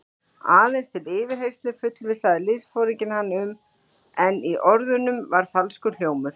Aðeins til yfirheyrslu fullvissaði liðsforinginn hann um, en í orðunum var falskur hljómur.